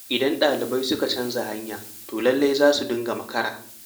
Idan daliban suka canja hanya to lallai za su dinga makara.